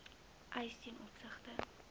eise ten opsigte